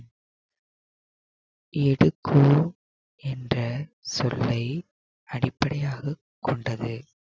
என்ற சொல்லை அடிப்படையாகக் கொண்டது